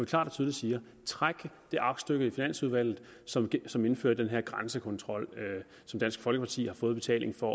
klart og tydeligt siger træk det aktstykke i finansudvalget som som indfører den her grænsekontrol som dansk folkeparti i har fået i betaling for